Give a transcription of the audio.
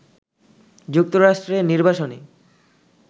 যুক্তরাষ্ট্রে নির্বাসনে